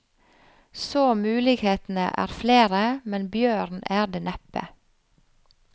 Så mulighetene er flere, men bjørn er det neppe.